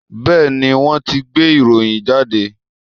Bẹ́ẹ̀ni, wọ́n ti gbé ìròyìn jáde